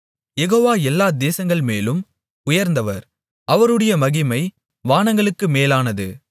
யெகோவா எல்லா தேசங்கள்மேலும் உயர்ந்தவர் அவருடைய மகிமை வானங்களுக்கு மேலானது